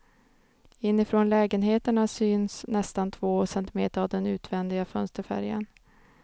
Inifrån lägenheterna syns nästan två centimeter av den utvändiga fönsterfärgen.